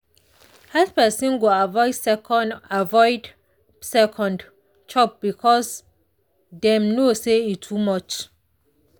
health person go avoid second avoid second chop because dem know say e too much.